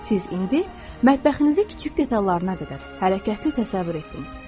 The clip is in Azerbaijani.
Siz indi mətbəxinizə kiçik detallarına qədər hərəkətli təsəvvür etdiniz.